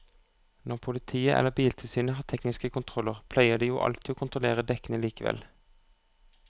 Når politiet eller biltilsynet har tekniske kontroller pleier de jo alltid å kontrollere dekkene likevel.